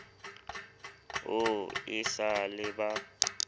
o e sa le ba